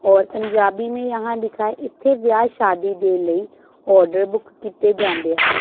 और पंजाबी में यहां लिखा है।